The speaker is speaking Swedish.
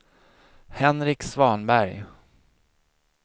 Henrik Svanberg